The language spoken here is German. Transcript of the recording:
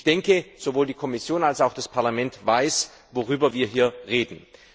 Ich denke, sowohl die Kommission als auch das Parlament wissen, worüber wir hier reden.